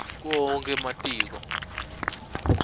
kuwo onkhe ematiko